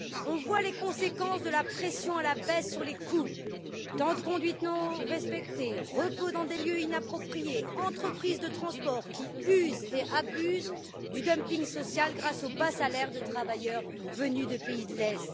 Nous voyons les conséquences de la pression à la baisse sur les coûts temps de conduite non respectés, repos dans des lieux inappropriés, entreprises de transport qui usent et abusent du dumping social grâce aux bas salaires de travailleurs venus des pays de l'Est.